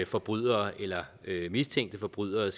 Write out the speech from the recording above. forbrydere eller mistænkte forbrydere